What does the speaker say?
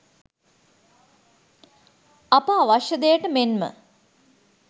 අප අවශ්‍ය දෙයට මෙන්ම